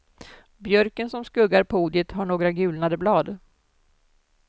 Björken som skuggar podiet har några gulnade blad.